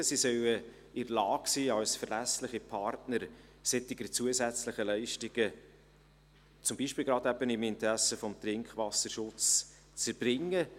Sie sollen in der Lage sein, solche zusätzlichen Leistungen, zum Beispiel eben gerade im Interesse des Trinkwasserschutzes, als verlässliche Partner zu erbringen.